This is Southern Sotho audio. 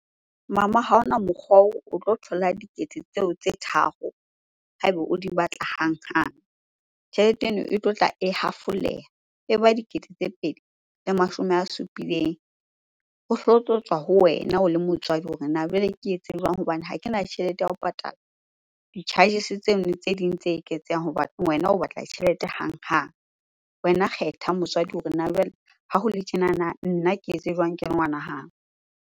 Mama ha hona mokgwa oo o tlo thola dikete tseo tse tharo ha eba o di batla hanghang. Tjhelete eno e tlotla e hafoleha e ba dikete tse pedi le mashome a supileng. Ho so tlo tswa ho wena o le motswadi hore na jwale ke etse jwang? Hobane ha kena tjhelete ya ho patala di-charges-e tseo tse ding tse eketseha hobane wena o batla tjhelete hanghang. Wena kgetha motswadi hore na jwale ha hole tjenana, nna ke etse jwang ke le ngwana hao?